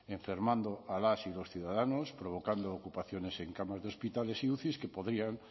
enfermando a las y los ciudadanos provocando ocupaciones en camas de hospitales y uci que podrían